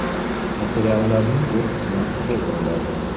Materialning bu qismi to‘ldiriladi.